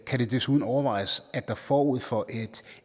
kan det desuden overvejes at der forud for et